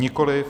Nikoliv.